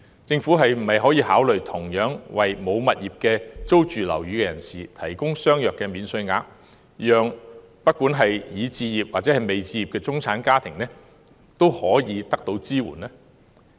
政府可否考慮同樣為沒有物業並租住樓宇的人士提供相若的免稅額，讓已置業或未置業的中產家庭均可獲得支援呢？